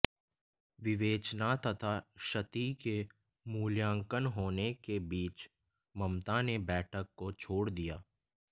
विवेचना तथा क्षति के मूल्यांकन होने के बीच ममता ने बैठक को छोड़ दिया